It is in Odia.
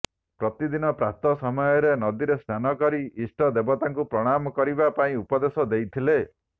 ପ୍ରତିଦିନ ପ୍ରାତଃ ସମୟରେ ନଦୀରେ ସ୍ନାନ କରି ଇଷ୍ଟ ଦେବତାଙ୍କୁ ପ୍ରଣାମ କରିବା ପାଇଁ ଉପଦେଶ ଦେଇଥିଲେ